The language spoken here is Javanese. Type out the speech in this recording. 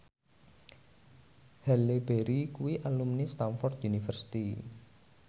Halle Berry kuwi alumni Stamford University